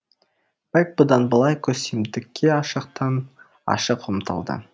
бэк бұдан былай көсемдікке ашықтан ашық ұмтылды